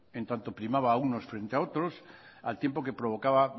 en tanto primaba unos frente a otros al tiempo que provocaba